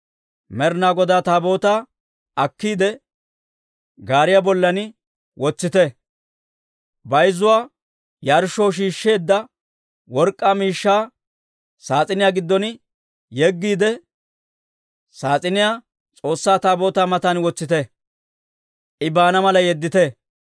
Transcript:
Med'inaa Godaa Taabootaa akkiide, gaariyaa bollan wotsite; bayzzuwaa yarshshoo shiishsheedda work'k'aa miishshaa saas'iniyaa giddon yeggiide, saas'iniyaa S'oossaa Taabootaa matan wotsiide, I baana mala yeddite.